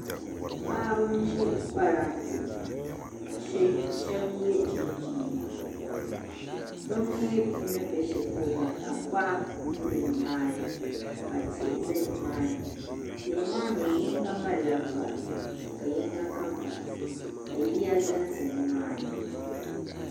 Paɣiba n ziri paranntɛ ka shɛba yiɛ chinchini bimi ni bɛ ahɛli polo maa tankpaɣu n bɛ ni maa ni ka tihi zɛ ni maa ni tihi maa mi yinga malila vari ka yinga ka vari ka yiya zanza ni maa ni.